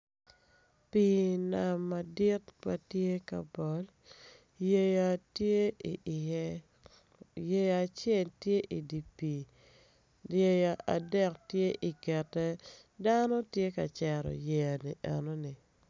Pii nam madit ma tye ka mol yeya tye i iye yeya acel tye i di pii yeya adek tye ingette dano tye ka cero yeya eno ni